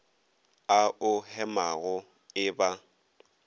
a o hemago e ba